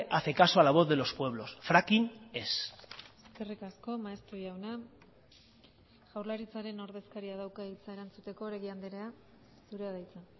hace caso a la voz de los pueblos fracking ez eskerrik asko maeztu jauna jaurlaritzaren ordezkaria dauka hitza erantzuteko oregi andrea zurea da hitza